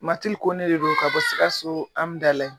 Matil Kone de don ka bɔ Sikasso Amdalaye.